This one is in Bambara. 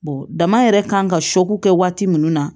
dama yɛrɛ kan ka kɛ waati min na